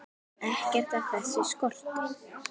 Ekkert af þessu skorti.